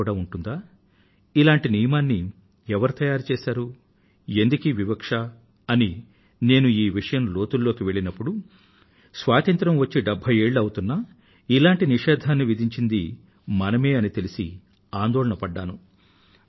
అలా కూడా ఉంటుందా ఇటువంటి నియమాన్ని ఎవరు రూపొందించారు ఎందుకీ వివక్ష అని నేను ఈ విషయం లోతుల్లోకి వెళ్ళినప్పుడు స్వాతంత్రం వచ్చి డెభ్భై ఏళ్ళు అవుతున్నా ఇటువంటి నిషేధాన్ని విధించింది మనమే అని తెలిసి ఆందోళన పడ్డాను